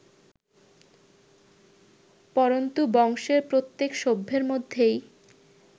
পরন্তু বংশের প্রত্যেক সভ্যের মধ্যেই